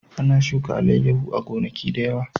Ana shuka alayyahu a gonaki da yawa